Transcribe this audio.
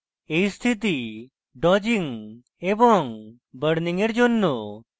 এই স্থিতি dodging এবং burning এর জন্য